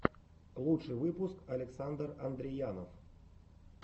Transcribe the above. лучший выпуск александр андреянов